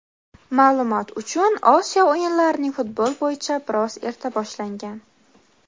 Ma’lumot uchun Osiyo o‘yinlarining futbol bo‘yicha biroz erta boshlangan.